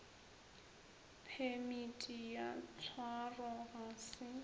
phemiti ya tshwaro ga se